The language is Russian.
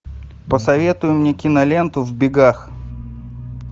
посоветуй мне киноленту в бегах